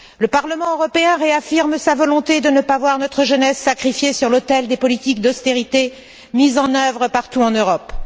Le Parlement européen réaffirme sa volonté de ne pas voir notre jeunesse sacrifiée sur l'autel des politiques d'austérité mises en œuvre partout en Europe.